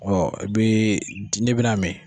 i bi di n'i bina min.